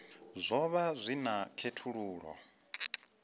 zwo vha zwi na khethululoe